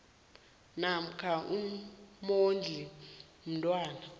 namkha umondli womntwana